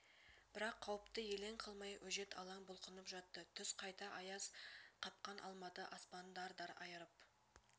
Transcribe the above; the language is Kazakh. бірақ қауіпті елең қылмай өжет алаң бұлқынып жатты түс қайта аяз қапқан алматы аспанын дар-дар айырып